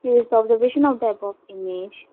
this is the observation of the above image.